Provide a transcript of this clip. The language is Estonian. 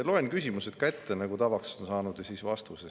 Loen küsimused ka ette, nagu tavaks on saanud, ja siis vastused.